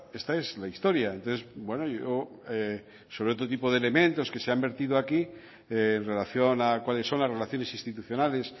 esta es la historia entonces yo sobre otro tipo de elementos que se han vertido aquí en relación a cuáles son las relaciones institucionales